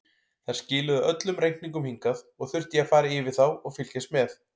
Þær skiluðu öllum reikningum hingað og þurfti ég að fara yfir þá og fylgjast með.